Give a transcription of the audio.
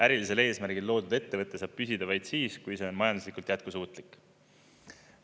Ärilisel eesmärgil loodud ettevõte saab püsida vaid siis, kui see on majanduslikult jätkusuutlik.